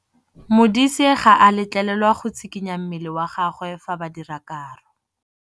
Modise ga a letlelelwa go tshikinya mmele wa gagwe fa ba dira karô.